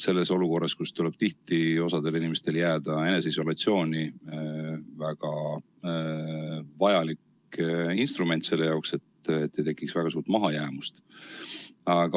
Olukorras, kus tihti tuleb osal inimestel jääda eneseisolatsiooni, on hübriidõpe väga vajalik instrument selleks, et ei tekiks väga suurt mahajäämust.